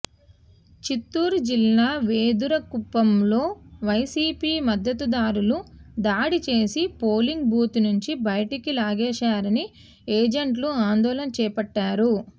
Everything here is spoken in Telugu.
చిత్తూరు జిల్లా వెదురుకుప్పంలో వైసీపీ మద్దతుదారులు దాడి చేసి పోలింగ్ బూత్ నుంచి బయటకు లాగేశారని ఏజెంట్లు ఆందోళన చేపట్టారు